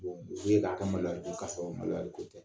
u be k'a kɛ maloya ko ka sɔrɔ maloya ko tɛ